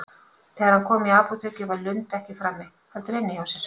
Þegar hann kom í apótekið var Lund ekki frammi, heldur inni hjá sér.